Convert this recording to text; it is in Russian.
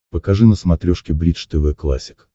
покажи на смотрешке бридж тв классик